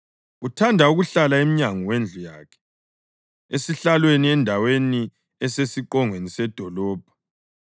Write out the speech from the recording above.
Uthanda ukuhlala emnyango wendlu yakhe, esihlalweni endaweni esesiqongweni sedolobho,